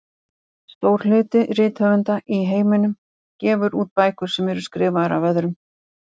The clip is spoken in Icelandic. Stór hluti rithöfunda í heiminum gefur út bækur sem eru skrifaðar af öðrum.